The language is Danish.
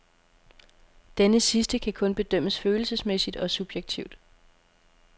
Denne sidste kan kun bedømmes følelsesmæssigt og subjektivt.